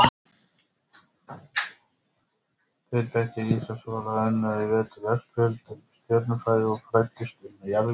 Tveir bekkir í Ísaksskóla unnu í vetur veggspjöld um stjörnufræði og fræddust um jarðvísindi.